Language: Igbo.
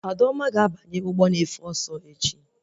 Adaoma ga-abanye ụgbọ na-efe ọsọ echi